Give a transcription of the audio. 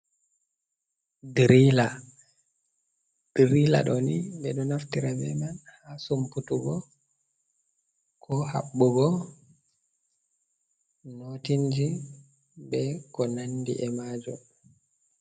Dirila. Dirila ɗo nii ɓe ɗo naftira be man haa sumputugo, ko haɓɓugo notiji, be ko nandi e majum.